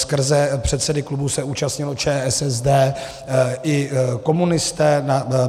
Skrze předsedy klubů se účastnilo ČSSD i komunisté.